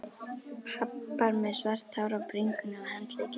Pabbar með svart hár á bringunni og handleggjunum.